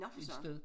Et sted